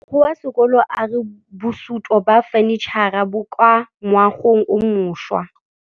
Mogokgo wa sekolo a re bosutô ba fanitšhara bo kwa moagong o mošwa.